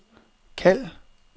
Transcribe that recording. kald